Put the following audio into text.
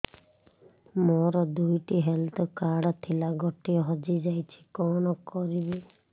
ମୋର ଦୁଇଟି health card ଥିଲା ଗୋଟିଏ ହଜି ଯାଇଛି କଣ କରିବି